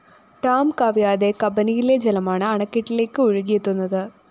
dam കവിയാതെ കബനിയിലെ ജലമാണ് അണക്കെട്ടിലേക്ക് ഒഴുകിയെത്തുന്നത്